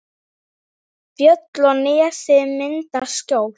Fjöll og nesið mynda skjól.